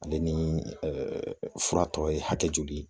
Ale ni fura tɔ ye hakɛ joli ye?